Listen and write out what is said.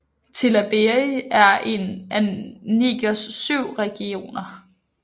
Tillabéri er en af Nigers syv regioner